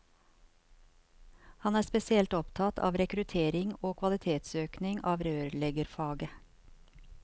Han er spesielt opptatt av rekruttering til og kvalitetsøkning av rørleggerfaget.